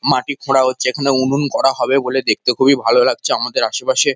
মাটি খোঁড়া হচ্ছে এখানে উনুন করা হবে বলে দেখতে খুবই ভালো লাগছে আমাদের আশেপাশে--